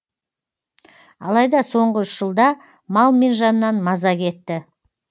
алайда соңғы үш жылда мал мен жаннан маза кетті